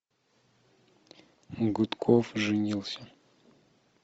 гудков женился